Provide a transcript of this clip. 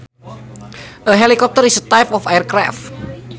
A helicopter is a type of aircraft